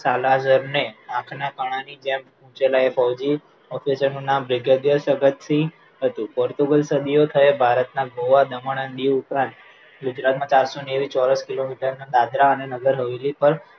ચાલાજર ને આંખના કાણાની જેમ officer નું નામ brigadier ભગતસિંહ હતું પોર્ટુગલ સદીઓ થયા ભારતના ગોઆ દીવ અને દમણ ઉપરાંત ગુજરાતના ચારસો નેવું ચોરસ કિલોમીટરના દાદરા અને નગર હવેલી પર